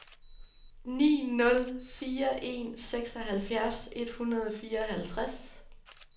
ni nul fire en seksoghalvfjerds et hundrede og fireoghalvtreds